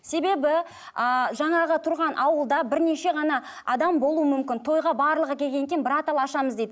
себебі ааа жаңағы тұрған ауылда бірнеше ғана адам болуы мүмкін тойға барлығы келгеннен кейін ашамыз дейді